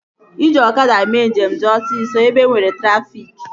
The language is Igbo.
Iji ọkada mee njem dị osisọ ebe enwere trafịk